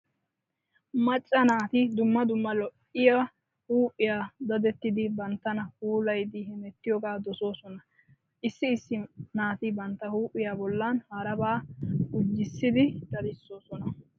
Macca naati dumma dumma lo'iya huuphiya dadettidi banttana puulayidi hemettiyogaa dosoosona. Issi issi naati bantta huuphiya bollan harabaa gujissidi dadissoosona.